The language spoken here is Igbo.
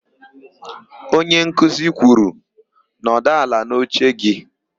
Onyenkuzi kwuru, "nọdụ ala n'oche gị"!